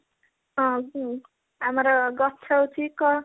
ହଁ ହୁଁ ଆମର ହଉଛି କଣ